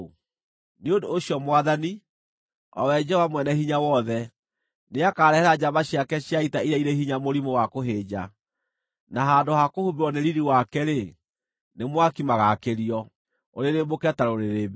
Nĩ ũndũ ũcio Mwathani, o we Jehova Mwene-Hinya-Wothe, nĩakarehera njamba ciake cia ita iria irĩ hinya mũrimũ wa kũhĩnja; na handũ ha kũhumbĩrwo nĩ riiri wake-rĩ, nĩ mwaki magaakĩrio ũrĩrĩmbũke ta rũrĩrĩmbĩ.